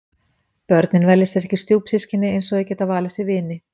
Börnin velja sér ekki stjúpsystkini eins og þau geta valið sér vini.